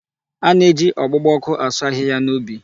A na-eji ọgbugba ọkụ asụ ahịhịa n'ubi.